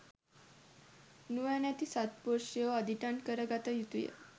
නුවණැති සත්පුරුෂයෝ අදිටන් කර ගත යුතුය.